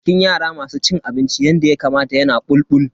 Jikin yara masu cin abinci yanda Yakamata yana bulbul.